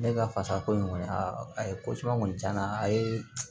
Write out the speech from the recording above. Ne ka fasa ko in kɔni a ye ko caman kɔni tiɲɛ na a ye